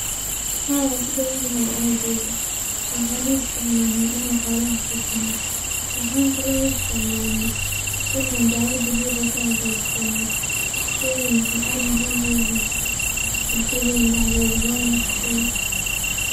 Haa wuu kubadan yahay aageyga waxan u isticmaalna inan xoolaha sii sano waxan kale oo u isticmaalna inan daawa dabici ka hagajisano sheygan wuxuu ad muhiim uyahay bulshadena dhaxdeeda wana shey